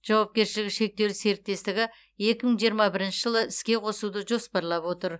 жауапкершілігі шектеулі серіктестігі екі мың жиырма бірінші жылы іске қосуды жоспарлап отыр